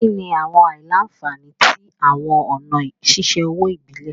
Kini awọn aila-nfani ti awọn ọna ṣiṣe owo ibile?